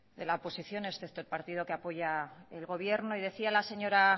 de la oposición excepto el partido que apoya el gobierno decía la señora